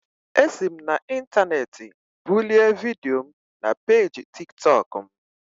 Esi m n'intaneeti bulie vidio m na peeji Tik tọk m